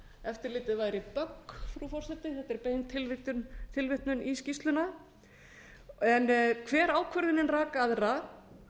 eftirlitið væri bögg frú forseti þetta er bein tilvitnun í skýrsluna en hver ákvörðunin rak aðra